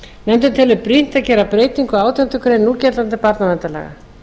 nefndin telur brýnt að gera breytingu á átjándu grein núgildandi barnaverndarlaga